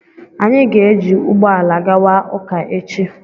anyị ga-ejị ụgbọ ala gawa ụka echi